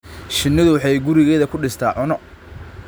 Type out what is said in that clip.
Shinnidu waxay gurigeeda ku dhistaa cunno.